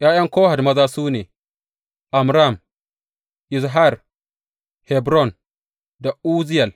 ’Ya’yan Kohat maza su ne, Amram, Izhar, Hebron da Uzziyel.